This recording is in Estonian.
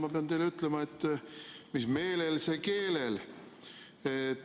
Ma pean teile ütlema, et mis meelel, see keelel.